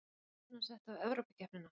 Er stefnan sett á Evrópukeppnina?